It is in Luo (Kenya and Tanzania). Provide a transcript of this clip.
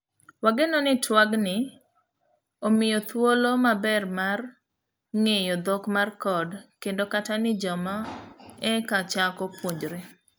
Wageno ni tuag ni omiyi thuolo maber mar mar ng'eyo dhok mar code kendo kata ni joma eka chako puonjre.